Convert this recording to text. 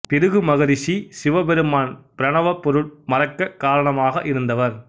பிருகு மகரிஷி சிவபெருமான் பிரணவப் பொருள் மறக்கக் காரணமாக இருந்தவர்